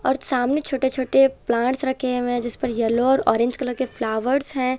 और सामने छोटे छोटे प्लांट्स रखे हुए हैं जिसपर येलो और ऑरेंज कलर के फ्लावर्स हैं।